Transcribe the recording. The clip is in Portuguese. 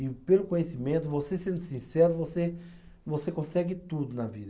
E pelo conhecimento, você sendo sincero, você você consegue tudo na vida.